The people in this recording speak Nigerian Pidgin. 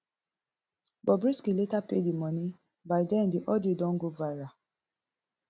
bobrisky later pay di money by den di audio don go viral